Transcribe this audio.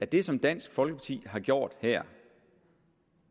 det som dansk folkeparti har gjort her og